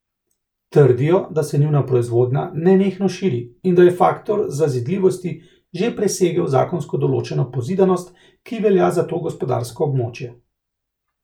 Trdijo, da se njuna proizvodnja nenehno širi in da je faktor zazidljivosti že presegel zakonsko določeno pozidanost, ki velja za to gospodarsko območje.